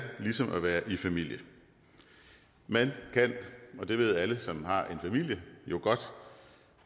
ligesom at være i familie man kan og det ved alle som har en familie jo godt